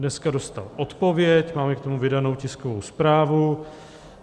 Dneska dostal odpověď, máme k tomu vydanou tiskovou zprávu.